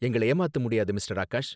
எங்கள ஏமாத்த முடியாது மிஸ்டர் ஆகாஷ்